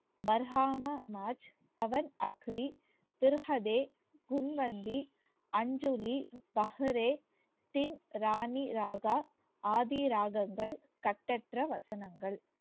ஆதி ராகங்கள் கட்டற்ற வசனங்கள்